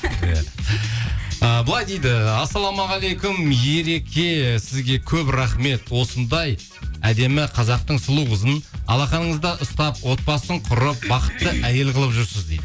иә ы былай дейді ассалаумағалейкум ереке сізге көп рахмет осындай әдемі қазақтың сұлу қызын алақаныңызда ұстап отбасын құрып бақытты әйел қылып жүрсіз дейді